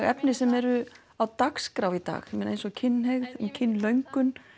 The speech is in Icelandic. efni sem eru á dagskrá í dag eins og kynhneigð kynlöngun